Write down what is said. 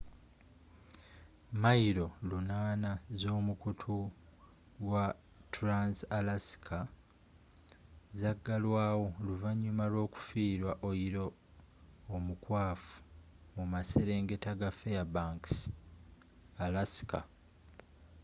milo 800 ez'omukutu wa trans-alaska zagalwaawo oluvanyuma lw'okufiirwa oyiro omukwafu mu maserengeta ga fairbanks alaska